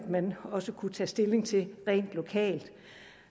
man også kunne tage stilling til rent lokalt